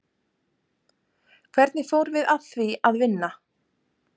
Hvernig fórum við að því að vinna?